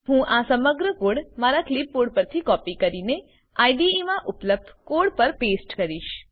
હું આ સમગ્ર કોડ મારા કલીપ બોર્ડ પરથી કોપી કરીને આઇડીઇ મા ઉપલબ્ધ કોડ પર પેસ્ટ કરીશ